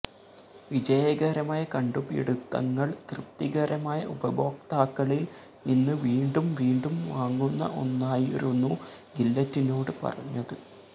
വിജയകരമായ കണ്ടുപിടുത്തങ്ങൾ തൃപ്തികരമായ ഉപഭോക്താക്കളിൽ നിന്ന് വീണ്ടും വീണ്ടും വാങ്ങുന്ന ഒന്നായിരുന്നു ഗില്ലെറ്റിനോട് പറഞ്ഞത്